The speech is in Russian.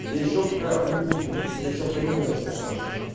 я ещё пока они будут вариться я ещё пойду наверное за полторашкой